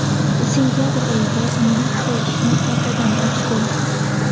Sentabr oyida militsiya ishni qaytadan ochdi.